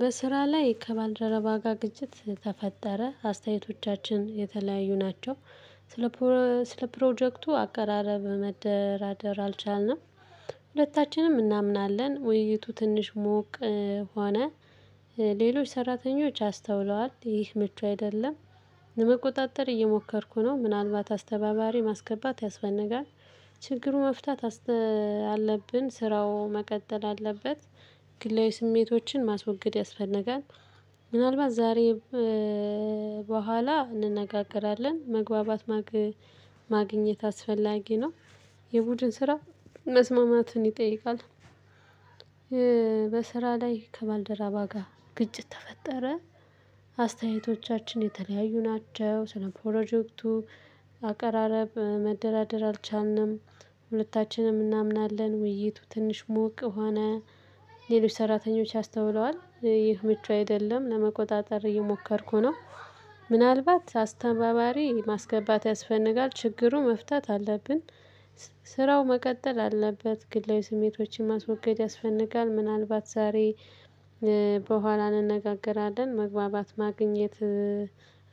በስራ ላይ ከባልደረባ ጋር ግጭት ተፈጠረ። አስተያየቶቻችን የተለያዩ ናቸው። ስለ ስለ 'ፕሮጀክቱ' አቀራረብ መደራደር አልቻልንም። ሁለታችንም እናምናለን ውይይቱ ትንሽ ሙቅ ሆነ። ሌሎች ሰራተኞች አስተውለዋል ይህ ምቹ አይደለም። ለመቆጣጠር እየሞከርኩ ነው። ምናልባት አስተባባሪ ማስገባት ያስፈልጋል። ችግሩን መፍታት አለብን ስራው መቀጠል አለበት። ግላዊ ስሜቶችን ማስወገድ ያስፈነጋል። ምናልባት ዛሬም በኋላ እንነጋገራለን። መግባባት ማግኘት አስፈላጊ ነው። የቡድን ስራ መስማማትን ይጠይቃል። በስራ ላይ ከባልደረባ ጋር ግጭት ተፈጠረ። አስተያየቶቻችን የተለያዩ ናቸው። ስለ 'ፕሮጀክቱ' አቀራረብ መደራደር አልቻልንም። ሁለታችንም እናምናለን ውይይቱ ትንሽ ሞቅ ሆነ ሌሎች ሰራተኞች አስተውለዋል ይህ ምቹ አይደለም። ለመቆጣጠር እየሞከርኩ ነው። ምናልባት አስተባባሪ ማስገባት ያስፈልጋል። ችግሩን መፍታት አለብን። ስራው መቀጠል አለበት ግላዊ ስሜቶችን ማስወገድ ያስፈልጋል። ምናልባት ዛሬ በኋላ እንነጋገራለን መግባባት ማግኘት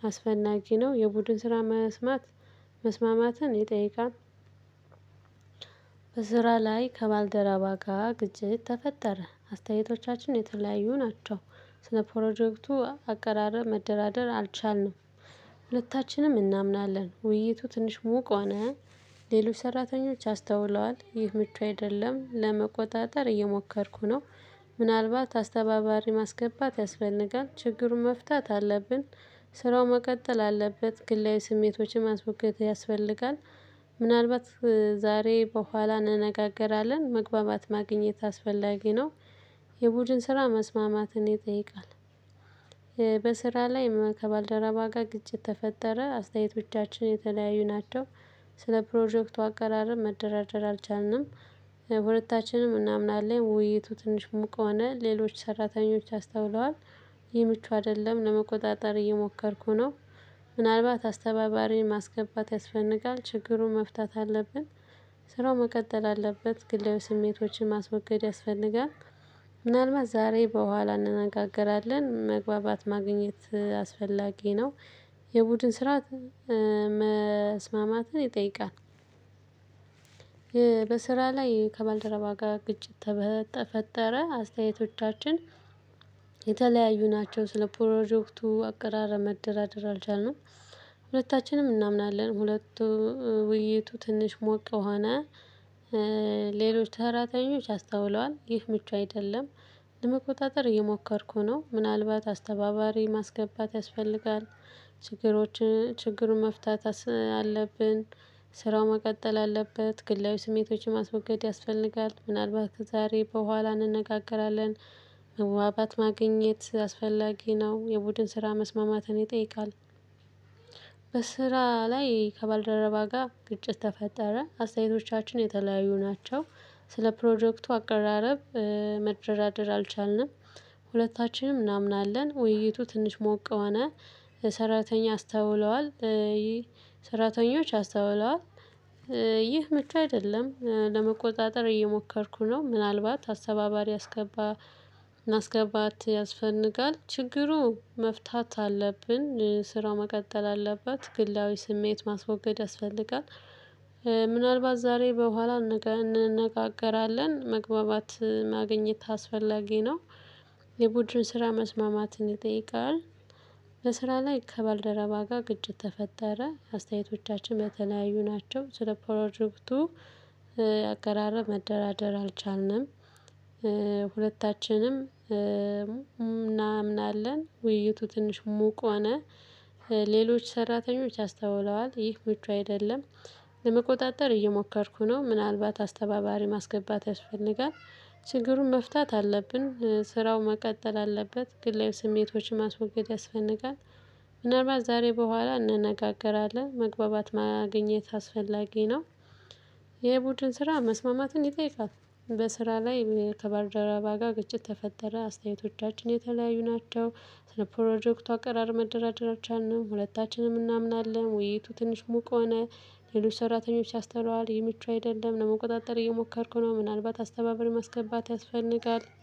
አስፈላጊ ነው። የቡድን ስራ መስማት መስማማትን ይጠይቃል። በስራ ላይ ከባልደረባ ጋር ግጭት ተፈጠረ አስተያየቶቻችን የተለያዩ ናቸው። ስለ 'ፕሮጀክቱ' አቀራረብ መደራደር አልቻልንም። ሁለታችንም እናምናለን ውይይቱ ትንሽ ሙቅ ሆነ። ሌሎች ሰራተኞች አስተውለዋል ይህ ምቹ አይደለም። ለመቆጣጠር እየሞከርኩ ነው። ምናልባት አስተባባሪ ማስገባት ያስፈልጋል። ችግሩን መፍታት አለብን። ስራው መቀጠል አለበት። ግላዊ ስሜቶችን ማስወገድ ያስፈልጋል። ምናልባት ዛሬ በኋላ እንነጋገራለን። መግባባት ማግኘት አስፈላጊ ነው። የቡድን ስራ መስማማትን ይጠይቃል። በስራ ላይ ከባልደረባ ጋር ግጭት ተፈጠረ አስተያየቶቻችን የተለያዩ ናቸው። ስለ 'ፕሮጀክቱ' አቀራረብ መደራደር አልቻልንም። ሁለታችንም እናምናለን ውይይቱ ትንሽ ሙቅ ሆነ ሌሎች ሰራተኞች አስተውለዋል። ይህ ምቹ አይደለም ለመቆጣጠር እየሞከርኩ ነው። ምናልባት አስተባባሪ ማስገባት ያስፈልቃል። ችግሩን መፍታት አለብን። ስራው መቀጠል አለበት ግላዊ ስሜቶችን ማስወገድ ያስፈልጋል። ምናልባት ዛሬ በኋላ እንነጋገራለን መግባባት ማግኘት አስፈላጊ ነው። የቡድን ስር መስማማትን ይጠይቃል። በስራ ላይ ከባልደረባ ጋር ግጭት ተፈጠረ። አስተያየቶቻችን የተለያዩ ናቸው ስለ 'ፕሮጀክቱ' አቀራረብ መደራደር አልቻልንም። ሁለታችንም እናምናለን ሁለቱ ውይይቱ ትንሽ ሞቅ ሆነ ሌሎች ሰራተኞች አስተውለዋል። ይህ ምቹ አይደለም። ለመቆጣጠር እየሞከርኩ ነው። ምናልባት አስተባባሪ ማስገባት ያስፈልጋል። ችግሮችን ችግሩን መፍታት አለብን። ስራው መቀጠል አለበት። ግላዊ ስሜቶችን ማስወገድ ያስፈልጋል። ምናልባት ዛሬ በኋላ እንነጋገራለን ህዋባት ማግኘት አስፈላጊ ነው። የቡድን ስራ መስማማትን ይጠይቃል። በስራ ላይ ከባልደረባ ጋር ግጭት ተፈጠረ። አስተያየቶቻችን የተለያዩ ናቸው። ስለ 'ፕሮጀክቱ' አቀራረብ መደራደር አልቻልንም። ሁለታችንም እናምናለን ውይይቱ ትንሽ ሞቅ ሆነ ሰራተኛ አስተውለዋል። ሰራተኞች አስተውለዋል። ይህ ምቹ አይደለም። ለመቆጣጠር እየሞከርኩ ነው። ምናልባት አስተባባሪ አስገባ ማስገባት ያስፈልጋል። ችግሩ መፍታት አለብን ስራው መቀጠል አለበት። ግላዊ ስሜት ማስወገድ ያስፈልጋል። ምናልባት ዛሬ በኋላ እንነጋገራለን መግባባት ማግኘት አስፈላጊ ነው። የቡድን ስራ መስማማትን ይጠይቃል። በስራ ላይ ከባልደረባ ጋር ግጭት ተፈጠረ። አስተያየቶቻችን በተለያዩ ናቸው። ስለ 'ፕሮጀክቱ' አቀራረብ መደራደር አልቻልንም። ሁለታችንም እናምናለን ውይይቱ ትንሽ ሙቅ ሆነ ሌሎች ሰራተኞች አስተውለዋል። ይህ ምቹ አይደለም። ለመቆጣጠር እየሞከርኩ ነው። ምናልባት አስተባባሪ ማስገባት ያስፈልጋል። ችግሩን መፍታት አለብን። ስራው መቀጠል አለበት። ግላዊ ስሜቶችን ማስወገድ ያስፈልጋል። ምናልባት ዛሬ በኋላ እንነጋገራለን። መግባባት ማግኘት አስፈላጊ ነው። የቡድን ስራ መስማማትን ይጠይቃል። በስራ ላይ ከባልደረባ ጋር ግጭት ተፈጠረ። አስተያየቶቻችን የተለያዩ ናቸው። ስለ 'ፕሮጀክቱ' አቀራረብ መደራደር አልቻልንም። ሁለታችንም እናምናለን። ውይይቱ ትንሽ ሙቅ ሆነ ሌሎች ሰራተኞች አስተውለዋል። ይህ ምቹ አይደለም። ለመቆጣጠር እየሞከርኩ ነው። ምናልባት አስተባባሪ ማስገባት ያስፈልጋል።